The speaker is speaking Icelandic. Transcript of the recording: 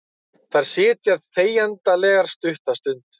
Þær sitja þegjandalegar stutta stund.